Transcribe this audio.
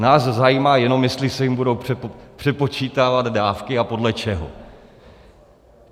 Nás zajímá jenom, jestli se jim budou přepočítávat dávky a podle čeho.